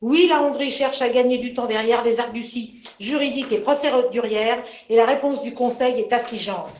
Oui, la Hongrie cherche à gagner du temps derrière des arguties juridiques et procédurières, et la réponse du Conseil est affligeante.